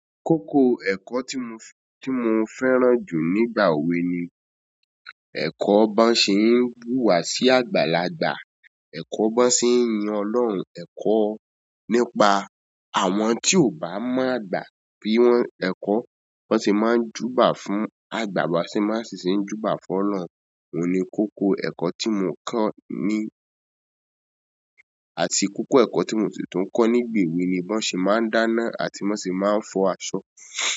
Kókó ẹ̀kọ́ tí mo, tí mo fẹ́ràn jù nígbà ewe ni ẹ̀kọ́ bọ́ n se. Ń wú wa sí àgbàlagbà. Eko bo n se yin ọlọ́run eko. Nípa àwọn tí ò bá mọ̀ gba bi wọ́n ẹ̀kọ́, wọ́n sì máa ń júbà fún àgbà tí máa sì ṣe ń júbà fún Ọlọ́run. Ní kókó ẹ̀kọ́ tí mo kọ́ ní àti kókó ẹ̀kọ́ tí mo si tun kọ́ nígbà ewe mi bo n se máa ń dána àti bo se máa ń fọ aṣọ.